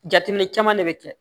Jateminɛ caman de bɛ kɛ